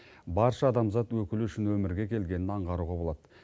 барша адамзат өкілі үшін өмірге келгенін аңғаруға болады